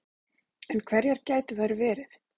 En hverjar gætu þær verið